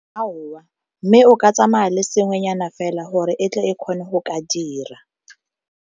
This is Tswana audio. mme o ka tsamaya le sengwenyana fela gore e tle e kgone go ka dira.